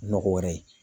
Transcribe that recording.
Nɔgɔ wɛrɛ ye